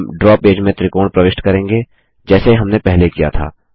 हम draw page में त्रिकोण प्रविष्ट करेंगे जैसे हमने पहले किया था